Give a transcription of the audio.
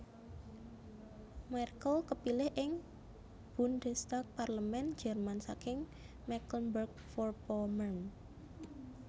Merkel kapilih ing Bundestag Parlemén Jerman saking Mecklenburg Vorpommern